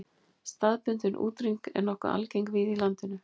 Staðbundin útrýming er nokkuð algeng víða í landinu.